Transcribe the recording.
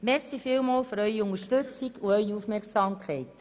Vielen Dank für Ihre Unterstützung und Ihre Aufmerksamkeit.